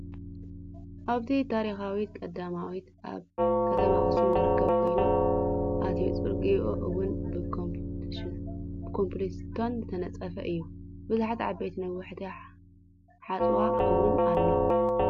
ኣብታ ታሪካዊት ቀዳማዊት ኣብ ከተማ ኣክሱም ዝርከብ ኮይኑ እቱይ ፅርግይኣ እውን ብኮብልስቶን ዝተነፀፈ እዩ። ብዙሓት ዓበይቲ ነዋሕትን ሓፃወ እውን ኣሎ።